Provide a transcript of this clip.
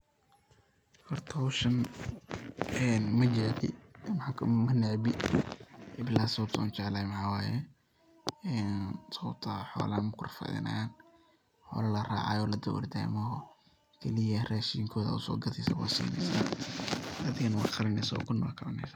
Horta howshan eeh manecbi sawabtan ujeclahay waxa waye ee sawabto aah xolaha makurafadinayan, xolo laracayo ladawa ordayo maahan galey iyo rashinkoda usogadeysa wa sineysa adhigana wa qalaneysa ukun neh wa kacuneysa